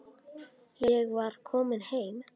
Ég var komin heim.